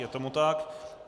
Je tomu tak.